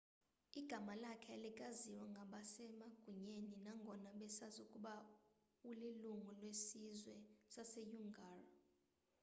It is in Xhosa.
igama lakhe alikaziwa ngabasemagunyeni nangona besazi ukuba ulilungu lesizwe saseuighur